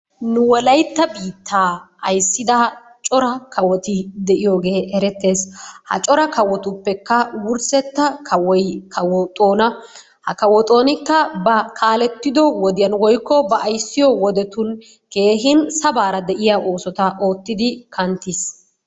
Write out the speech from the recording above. Nu wolaytta biittaa ayssida cora kawoti diyogee erettees. Ha cora kawotuppekka wurssettaa kawoy kawo Xoona, ha kawo Xoonikka ba kaalettiddo wodiyan woykko ba ayssiyo wodettun keehin sabaara de'iya oosota oottidi kanttiis.